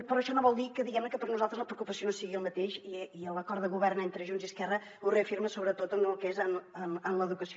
però això no vol dir que diguem ne per nosaltres la preocupació no sigui la mateixa i l’acord de govern entre junts i esquerra ho reafirma sobretot en el que és l’educació